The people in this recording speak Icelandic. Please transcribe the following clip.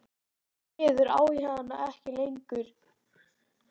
Því miður á ég hana ekki lengur.